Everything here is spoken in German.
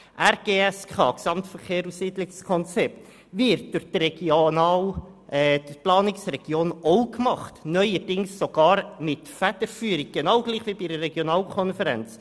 Das Regionale Gesamtverkehrs- und Siedlungskonzept (RGSK) wird durch die Planungsregion auch gemacht, neuerdings sogar unter deren Federführung, genau gleich wie bei einer Regionalkonferenz.